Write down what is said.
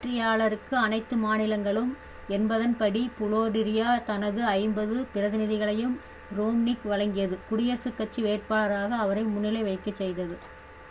வெற்றியாளருக்கு-அனைத்து மாநிலங்களும் என்பதன் படி புலோரிடா தனது ஐம்பது பிரதிநிதிகளையும் ரோம்னிக்கு வழங்கியது குடியரசுக் கட்சி வேட்பாளராக அவரை முன்னிலை வகிக்கச் செய்தது